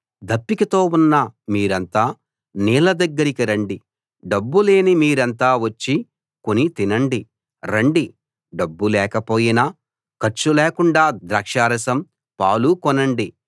దప్పికతో ఉన్న మీరంతా నీళ్ల దగ్గరికి రండి డబ్బు లేని మీరంతా వచ్చి కొని తినండి రండి డబ్బు లేకపోయినా ఖర్చు లేకుండా ద్రాక్షారసం పాలు కొనండి